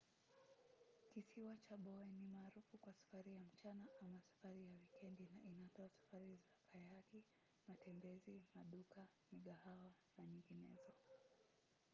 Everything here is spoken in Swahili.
kisiwa cha bowen ni maarufu kwa safari ya mchana ama safari ya wikendi na inatoa safari za kayaki matembezi maduka migahawa na nyinginezo